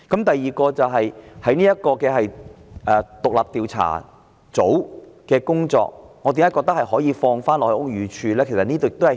第二，為何我認為獨立調查組的工作可以交回給屋宇署負責呢？